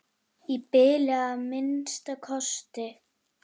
Í bili að minnsta kosti.